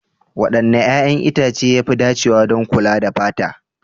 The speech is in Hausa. Wanne 'ƴa'ƴan itace ya fi dacewa don kula da fata?